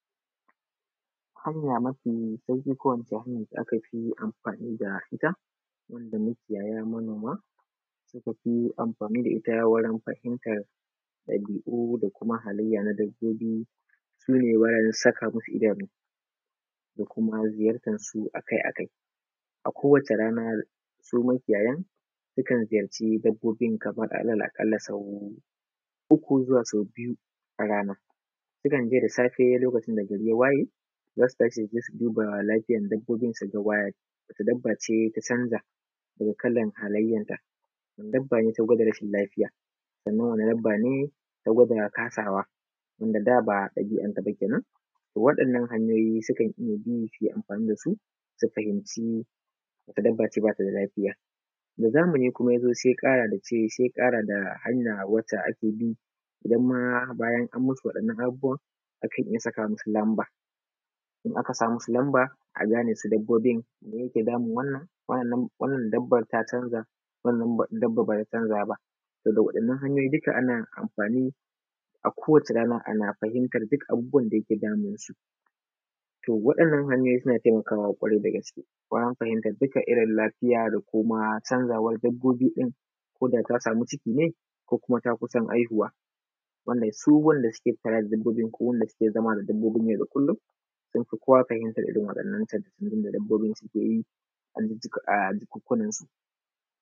Hanya mafi sauƙi ko in ce hanyan da aka amfani da ita, wanda makiyaya manoma suka fi amfani da ita wurin fahimtar, ɗabi’u da kuma halayya na dabbobi. Su ne bayan saka masu idanu da kuma ziyartan su akai-akai. A kowace rana su makiyayan suka ziyarci dabbobin kamar ala’aƙalla sau uku zuwa sau biyu a rana. Sukan je da safe lokacin da gari ya waye, za su tashi su je su duba lafiyan dabbobin, su ga wacce dabba ce ta canza, daga kalan halayyanta, wacce dabba ce ta gwada rashin lafiya, sannan wacce dabba ce ta gwada kasawa wanda da ba ɗabi’anta ba kenan. Waɗannan hanyoyi sukan iya bi su yi amfani da su, su fahimci wacce dabba ce ba ta da lafiya. Da zamani kuma ya zo sai ya ƙara da hanya wace ake bi, idan ma bayan an masu waɗannan abubuwan, a kan iya saka masu lamba, in aka sa masu lamba a gane su dabbobin me ke damun wannan, wa’yannan wannan dabban ta canza, wannan dabban ba ta canza ba, Da waɗannan hanyoyi duka ana amfani a kowace rana ana fahimtar duk abubuwan da ke damunsu. To Waɗannan hanyoyi suna taimakawa ƙwarai da gaske. Ko an fahimta duka irin lafiya da kuma canzawan dabbobi ɗin, ko da ta sami ciki ne ko ta kusa haihuwa, wannan su waɗanda suke kula da dabbobin ko wanda suke zama da dabbobin yau da kullum sun fi kowa fahimtan irin wannan canjin da dabbobin suke yi.